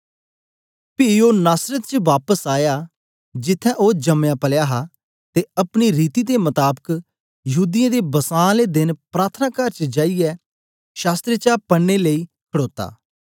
पी ओ नासरत च बापस आया जिथें ओ जमयापलया हा ते अपनी रीति दे मताबक यहूदीयें दे बसां आले देन प्रार्थनाकार च जाईयै शास्त्र चा पढ़ने लेई खड़ोता